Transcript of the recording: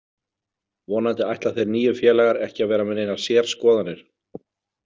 Vonandi ætla þeir nýju félagar ekki að vera með neinar sérskoðanir.